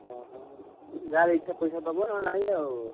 ଓହୋ! ଯାହାର ଇଛା ପଇସା ଦବ ନହେଲେ ନାହିଁ ଆଉ।